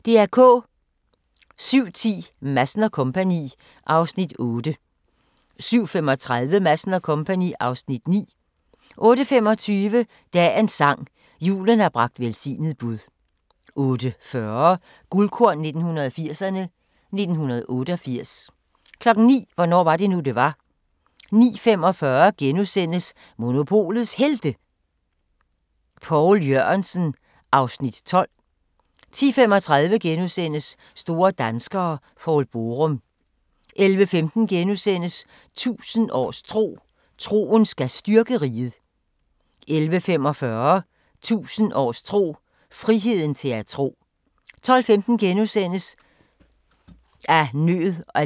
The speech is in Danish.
07:10: Madsen & Co. (Afs. 8) 07:35: Madsen & Co. (Afs. 9) 08:25: Dagens sang: Julen har bragt velsignet bud 08:40: Guldkorn 1980'erne: 1988 09:00: Hvornår var det nu, det var? 09:45: Monopolets Helte – Poul Jørgensen (Afs. 12)* 10:35: Store danskere - Poul Borum * 11:15: 1000 års tro: Troen skal styrke riget * 11:45: 1000 års tro: Friheden til at tro 12:15: Af nød og lyst – om kongebryllupper gennem tiden (4:5)*